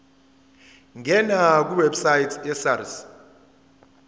ngena kwiwebsite yesars